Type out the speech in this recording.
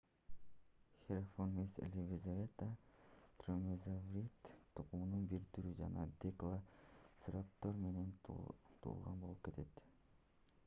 hesperonychus elizabethae дромеозаврид тукумунун бир түрү жана делоцираптор менен тууган болуп кетет